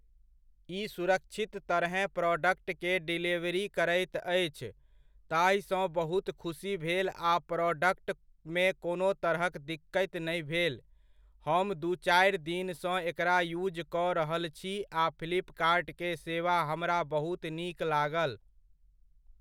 ई सुरक्षित तरहेँ प्रॉडक्ट के डेलीवरी करैत अछि, ताहिसँ बहुत खुसी भेल आ प्रॉडक्टमे कोनो तरहक दिक्कति नहि भेल। हम दू चारि दिनसँ एकरा युज कऽ रहल छी आ फ्लिपकार्ट के सेवा हमरा बहुत नीक लागल।